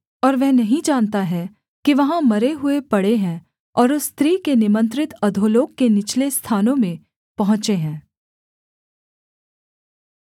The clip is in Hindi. और वह नहीं जानता है कि वहाँ मरे हुए पड़े हैं और उस स्त्री के निमंत्रित अधोलोक के निचले स्थानों में पहुँचे हैं